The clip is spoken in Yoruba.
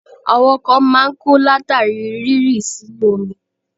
Àwọn kan máa ń kú látàrí rírí sínú omi.